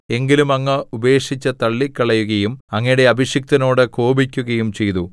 എങ്കിലും അങ്ങ് ഉപേക്ഷിച്ച് തള്ളിക്കളയുകയും അങ്ങയുടെ അഭിഷിക്തനോട് കോപിക്കുകയും ചെയ്തു